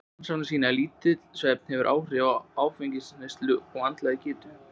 Rannsóknir sýna að lítill svefn hefur svipuð áhrif og áfengisneysla á andlega getu.